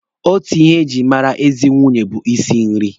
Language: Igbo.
Otu ihe e jiri mara ezi nwunye bụ isi nri.